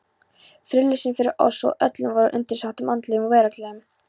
Friðlausan fyrir oss og öllum vorum undirsátum andlegum og veraldlegum.